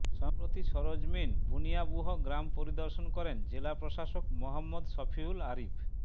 সম্প্রতি সরেজমিন বানিয়াবুহ গ্রাম পরিদর্শন করেন জেলা প্রশাসক মোহাম্মদ শফিউল আরিফ